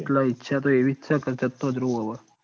એટલે ઈચ્છા તો એવી જ છ ક જતો રઉ હવ